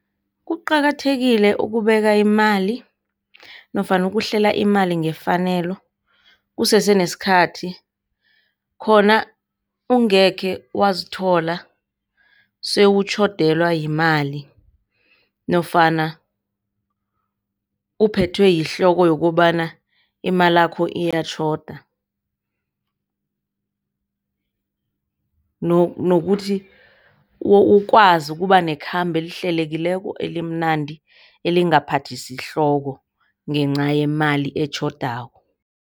Kuqakathekile ukubeka imali nofana ukuhlela imali ngefanelo kusese nesikhathi khona ungekhe wazithola sewutjhodelwa yimali nofana uphethwe yihloko yokobana imalakho ziyatjhoda nokuthi ukwazi ukuba nekhambo elihlelekileko, elimnandi, elingaphathisi ihloko ngenca yemali etjhodako.